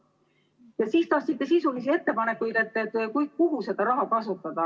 Ja siis tahtsite sisulisi ettepanekuid, et kuhu seda raha kasutada.